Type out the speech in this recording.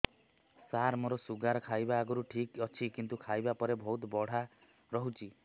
ସାର ମୋର ଶୁଗାର ଖାଇବା ଆଗରୁ ଠିକ ଅଛି କିନ୍ତୁ ଖାଇବା ପରେ ବହୁତ ବଢ଼ା ରହୁଛି